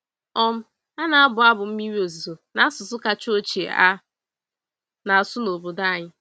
um A na-abụ abụ mmiri ozuzo n'asụsụ kacha ochie a na-asụ n'obodo anyị.